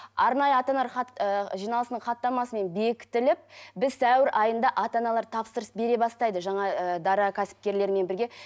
арнайы ата аналар хат ы жиналысының хаттамасымен бектітіліп біз сәуір айында ата аналар тапсырыс бере бастайды жаңа ы дара кәсіпкерлермен бірге